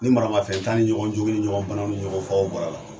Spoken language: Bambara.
Ni maramafɛnta ni ɲɔgɔn jogin ni ɲɔgɔn bana ni ɲɔgɔn fagaw bɔra a la